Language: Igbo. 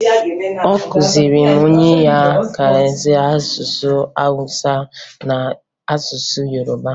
Ọ kụziri onwe ya ka e si asụ asụsụ Awụsa na asụsụ Yoroba